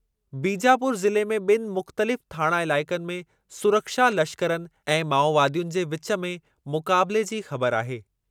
बीजापुर ज़िले में ॿिनि मुख़्तलिफ़ थाणा इलाइक़नि में सुरक्षा लश्करनि ऐं माओवादियुनि जे विचु में मुक़ाबिले जी ख़बर आहे।